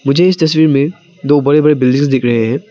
मुझे इस तस्वीर में दो बड़े बड़े बिल्डिंग्स दिख रहे हैं।